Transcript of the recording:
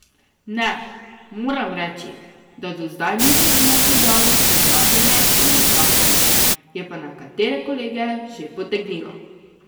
Ne, moram reči, da do zdaj nisem imel težav s preklapljanjem in odklapljanjem, je pa nekatere kolege že potegnilo.